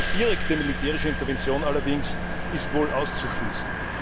Eine direkte militärische Intervention allerdings ist wohl auszuschließen.